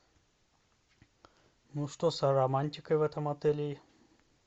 ну что с романтикой в этом отеле